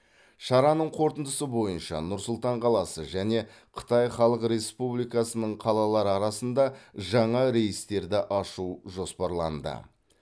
шараның қорытындысы бойынша нұр сұлтан қаласы және қытай халық республикасының қалалары арасында жаңа рейстерді ашу жоспарланды